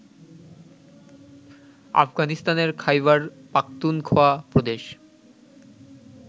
আফগানিস্তানের খায়বার পাখতুনখোয়া প্রদেশ